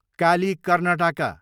Kali, Karnataka